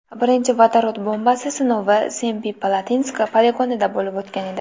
Birinchi vodorod bombasi sinovi Semipalatinsk poligonida bo‘lib o‘tgan edi.